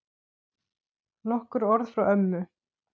Nokkur orð frá ömmu.